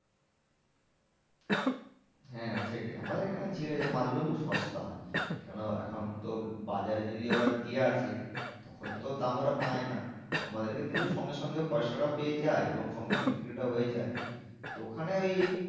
হ্যাঁ সেটাই আমাদের এখানে ঝিলে মাছ গুলো সস্তায় হয় কেন এখন তো বাজারে যদি ওরা দিয়ে আসে তখন তো দাম ওরা পায় না। আমাদেরকে দিলো সঙ্গে সঙ্গে পয়সাটাও পেয়ে যায় এবং সঙ্গে সঙ্গে বিক্রিটা হয়ে যায়। তো ওখানে ওই